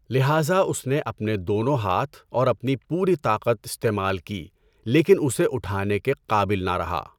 لہٰذا، اس نے اپنے دونوں ہاتھ اور اپنی پوری طاقت استعمال کی لیکن اسے اٹھانے کے قابل نہ رہا۔